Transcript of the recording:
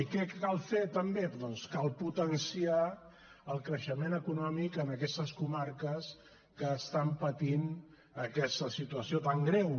i què cal fer també doncs cal potenciar el creixement econòmic en aquestes comarques que estan patint aquesta situació tan greu